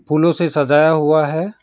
फूलों से सजाया हुआ है।